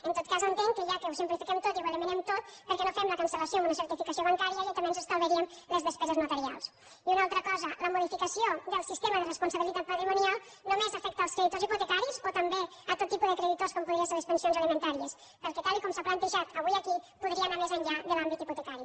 en tot cas entenc que ja que ho simplifiquem tot i ho eliminem tot per què no fem la cancel·lació amb una certificació bancària i també ens estalviaríem les despeses notarials i una altra cosa la modificació del sistema de responsabilitat patrimonial només afecta els creditors hipotecaris o també tot tipus de creditors com podrien ser les prestacions alimentàries perquè tal com s’ha plantejat avui aquí podria anar més enllà de l’àmbit hipotecari